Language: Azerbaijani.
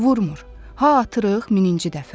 Vurmır, ha atırıq mininci dəfə.